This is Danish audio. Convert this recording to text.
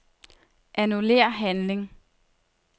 Annullér handling.